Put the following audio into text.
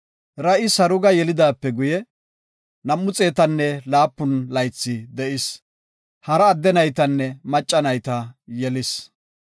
Ra7i Saruga yelidaape guye, 207 laythi de7is. Hara adde naytanne macca nayta yelis.